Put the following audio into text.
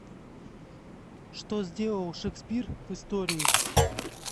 что сделал шекспир в истории